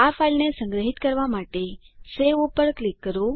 આ ફાઈલને સંગ્રહિત કરવા માટે સવે પર ક્લિક કરો